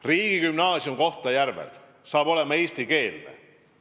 Riigigümnaasium Kohtla-Järvel saab olema eestikeelne.